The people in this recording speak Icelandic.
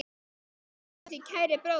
Við elskum þig, kæri bróðir.